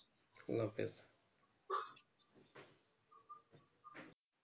আল্লা হাফিস